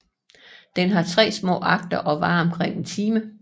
Den har tre små akter og varer omkring en time